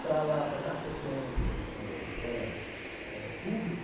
Para lá, para dar sequência eh em escola eh pública,